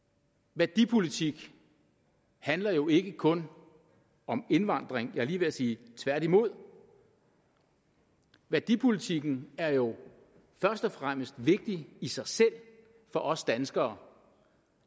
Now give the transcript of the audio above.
værdipolitik handler jo ikke kun om indvandring jeg er lige ved at sige tværtimod værdipolitikken er jo først og fremmest vigtig i sig selv for os danskere